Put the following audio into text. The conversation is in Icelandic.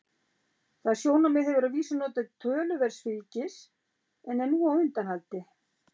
Það sjónarmið hefur að vísu notið töluverðs fylgis en er nú á undanhaldi.